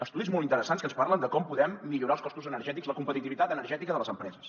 estudis molt interessants que ens parlen de com podem millorar els costos energètics la competitivitat energètica de les empreses